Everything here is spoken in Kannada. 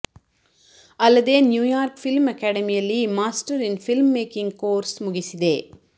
ಅಲ್ಲದೇ ನ್ಯೂಯಾರ್ಕ್ ಫಿಲ್ಮ್ ಆಕಾಡೆಮಿಯಲ್ಲಿ master in film making course ಮಗಿಸಿದೆ